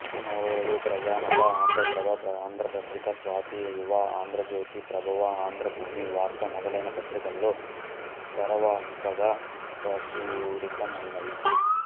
ఇతని నవలలు ప్రజామత ఆంధ్రప్రభ ఆంధ్రపత్రిక స్వాతి యువ ఆంధ్రజ్యోతి ప్రభవ ఆంధ్రభూమి వార్త మొదలైన పత్రికలలో ధారావాహికగా ప్రచురితమైనాయి